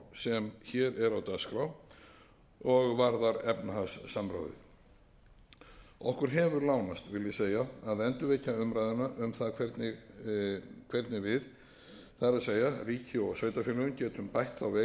á dagskrá og varðar efnahagssamráðið okkur hefur lánast vil ég segja að endurvekja umræðuna um það hvernig við það er ríki og sveitarfélög getum bætt veikleikana sem sannarlega eru